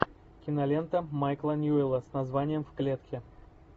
кинолента майкла ньюэлла с названием в клетке